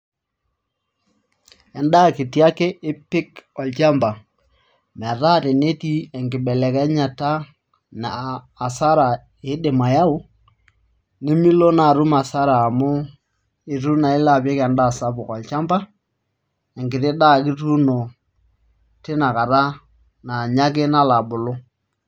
Endaa kiti ake ipik olchamba metaa tenetii enkibelekenyata naa hasara iidim ayaau nimilo naa atum hasara amu itu naa ilo apik endaa sapuk olchamba enkiti daa ake ituuno tina kata naa inye ake nalo abulu.